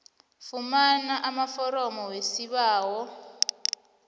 fumana amaforomo wesibawo